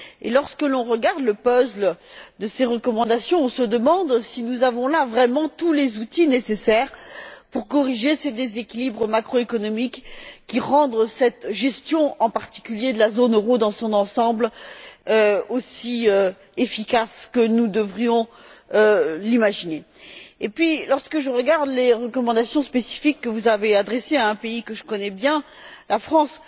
Lorsque l'on regarde le puzzle de ces recommandations, on se demande si nous avons là vraiment tous les outils nécessaires pour corriger ces déséquilibres macroéconomiques et rendre cette gestion, en particulier, de la zone euro dans son ensemble aussi efficace que nous devrions l'imaginer. Et puis, lorsque je regarde les recommandations spécifiques que vous avez adressées à un pays que je connais bien, la France,